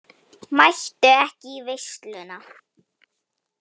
Mættu ekki í veisluna